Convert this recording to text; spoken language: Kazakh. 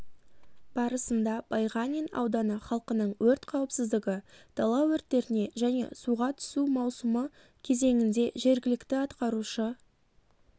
барысында байғанин ауданы халқының өрт қауіпсіздігі дала өрттеріне және суға түсу маусымы кезеңінде жергілікті атқарушы